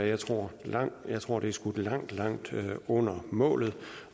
jeg tror jeg tror det er skudt langt langt under målet